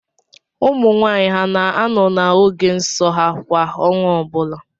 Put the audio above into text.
Ụmụnwaanyị ha na-anọ n’oge nso ha kwa ọnwa ọbụla?